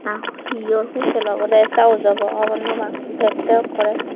ah heyor hotel obode sa ujabo hobor nopang dekte ekkorey.